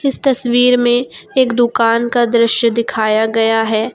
इस तस्वीर में एक दुकान का दृश्य दिखाया गया है।